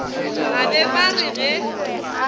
ba be ba re ge